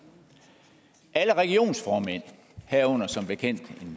alle regionsformænd herunder som bekendt en